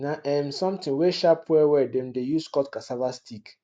na um something wey sharp well well dem de use cut casava stick